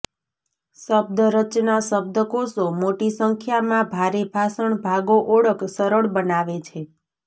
શબ્દ રચના શબ્દકોશો મોટી સંખ્યામાં ભારે ભાષણ ભાગો ઓળખ સરળ બનાવે છે